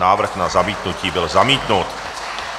Návrh na zamítnutí byl zamítnut.